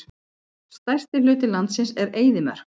Stærsti hluti landsins er eyðimörk.